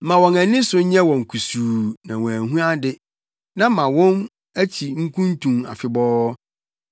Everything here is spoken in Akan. Ma wɔn ani so nyɛ wɔn kusuu na wɔanhu ade, na ma wɔn akyi nkuntun afebɔɔ.